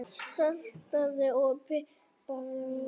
Saltaðu og pipraðu eftir smekk.